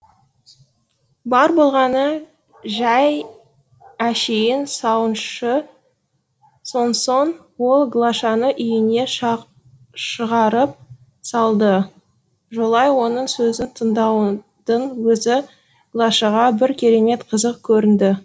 бар болғаны жай әшейін сауыншы сонсоң ол глашаны үйіне шығарып салды жолай оның сөзін тыңдаудың өзі глашаға бір керемет қызық көрінді